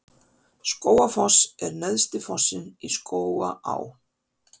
Skógafoss er neðsti fossinn í Skógaá.